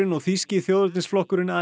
og þýski þjóðernisflokkurinn